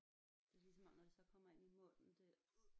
Det er ligesom om når det så kommer ind i munden det